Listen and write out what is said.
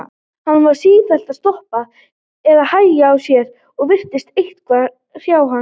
Hann var sífellt að stoppa eða hægja á sér og virtist eitthvað hrjá hann.